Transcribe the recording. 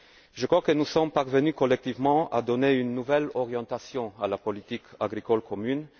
Je crois que nous sommes parvenus collectivement à donner une nouvelle orientation à la politique agricole commune.